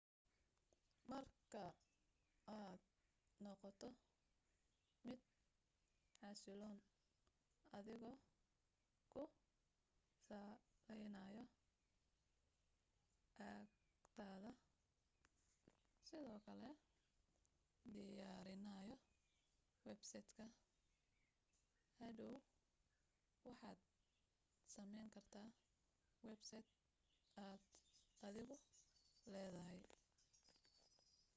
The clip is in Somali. marka aad noqoto mid xasiloon adigoo ku saleynayoakhidada sidoo kale diyaarinayo websaydh k hodhow waxaad sameyn kartaa websaydh aad adigu leedahay